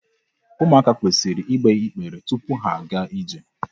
Ụmụaka kwesịrị igbe igbere tupu ha agaa ije.